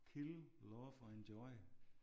Kill love og enjoy